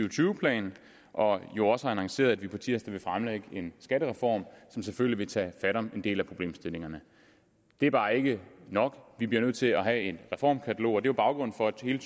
og tyve plan og jo også har annonceret at vi på tirsdag vil fremlægge en skattereform som selvfølgelig vil tage fat om en del af problemstillingerne det er bare ikke nok vi bliver nødt til at have et reformkatalog og det er baggrunden for at hele